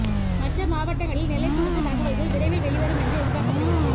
மற்ற மாவட்டங்களில் நிலை குறித்த தகவல்கள் விரைவில் வெளிவரும் என்று எதிர்பார்க்கப்படுகிறது